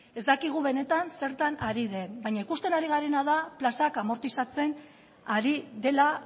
ez dakigu benetan zertan ari den baina ikusten ari garena da plazak amortizatzen ari dela